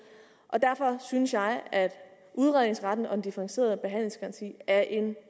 og derfor synes jeg at udredningsretten og en differentieret behandlingsgaranti er en